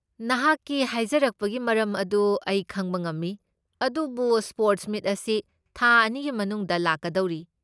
ꯅꯍꯥꯛꯀꯤ ꯍꯥꯏꯖꯔꯛꯄꯒꯤ ꯃꯔꯝ ꯑꯗꯨ ꯑꯩ ꯈꯪꯕ ꯉꯝꯃꯤ, ꯑꯗꯨꯕꯨ ꯁ꯭ꯄꯣꯔꯠꯁ ꯃꯤꯠ ꯑꯁꯤ ꯊꯥ ꯑꯅꯤꯒꯤ ꯃꯅꯨꯡꯗ ꯂꯥꯛꯀꯗꯧꯔꯤ꯫